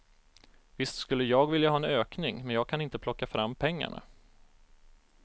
Visst skulle jag vilja ha en ökning, men jag kan inte plocka fram pengarna.